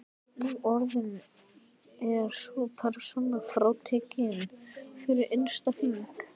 Nú orðið er sú persóna frátekin fyrir innsta hring.